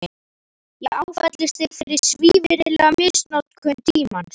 Ég áfellist þig fyrir svívirðilega misnotkun tímans.